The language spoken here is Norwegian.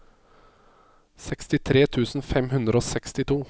sekstitre tusen fem hundre og sekstito